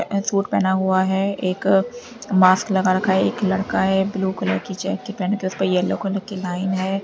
Tracksuit पहना हुआ है एक मास्क लगा रखा है एक लड़का है ब्लू कलर की जैकेट पहने उस पर एलो कलर लाइन है।